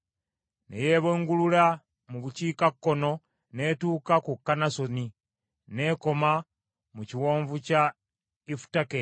Ne yeebungulula mu bukiikakkono n’etuuka ku Kannasoni n’ekoma mu Kiwonvu kya Ifutakeri;